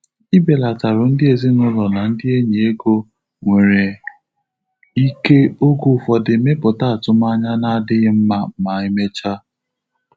Ibelatarụ ndị ezinụlọ na ndị enyi ego nwere ike oge ụfọdụ mepụta atụmanya na-adịghị mma ma emechaa.